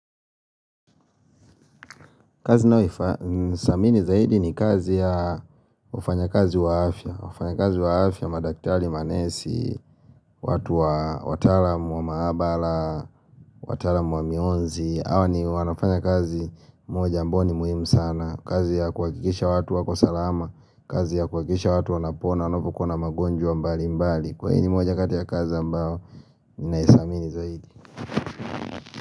Kazi ninaofa thamini zaidi ni kazi ya wafanyakazi wa afya wafanyakazi wa afya madaktari manesi, watu wa wataalam wa maabara, wataalamu wa mionzi hawa ni wanafanya kazi moja ambao ni muhimu sana kazi ya kuhakikisha watu wako salama, kazi ya kuhakikisha watu wanapona wanapokuwa na magonjwa mbalimbali moja kati ya kazi ambao ninaithamini zaidi.